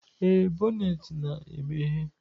Ee, bonnet na-emeghe.